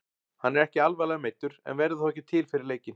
Hann er ekki alvarlega meiddur en verður þó ekki til fyrir leikinn.